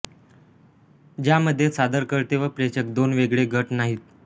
ज्यामध्ये सादरकर्ते व प्रेषक दोन वेगळे गट नाहीत